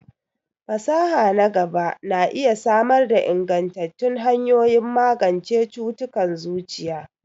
Fasaha na gaba na iya samar da ingantattun hanyoyin magance cututtukan zuciya.